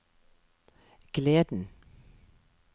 gleden